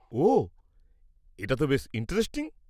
ওহ, এটা তো বেশ ইন্টারেস্টিং।